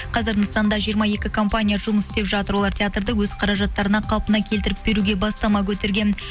қазір нысанда жиыра екі компания жұмыс істеп жатыр олар театрды өз қаражаттарына қалпына келтіріп беруге бастама көтерген